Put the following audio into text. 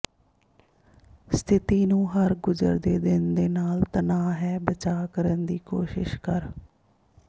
ਸਥਿਤੀ ਨੂੰ ਹਰ ਗੁਜ਼ਰਦੇ ਦਿਨ ਦੇ ਨਾਲ ਤਣਾਅ ਹੈ ਬਚਾਅ ਕਰਨ ਦੀ ਕੋਸ਼ਿਸ਼ ਕਰ